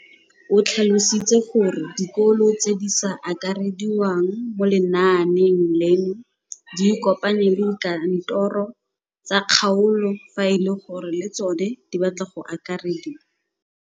O tlhalositse gore dikolo tse di sa akarediwang mo lenaaneng leno di ikopanye le dikantoro tsa kgaolo fa e le gore le tsona di batla go akarediwa.